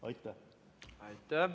Aitäh!